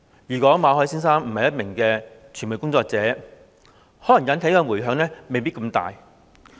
如果馬凱先生不是一名傳媒工作者，可能引起的迴響未必這麼大。